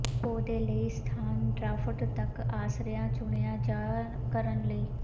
ਪੌਦੇ ਲਈ ਸਥਾਨ ਡਰਾਫਟ ਤੱਕ ਆਸ਼ਰਿਆ ਚੁਣਿਆ ਜਾ ਕਰਨ ਲਈ